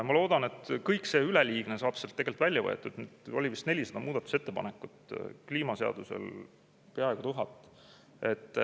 Ma loodan, et kõik see üleliigne saab sealt välja võetud – oli vist 400 muudatusettepanekut, kliimaseadusel peaaegu 1000.